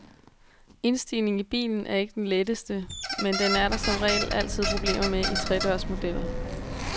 Indstigningen i bilen er ikke den letteste, men den er der som regel altid problemer med i tre dørs modeller.